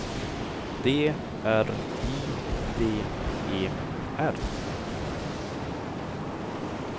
D R I V E R